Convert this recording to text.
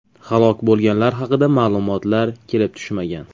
Halok bo‘lganlar haqida ma’lumotlar kelib tushmagan.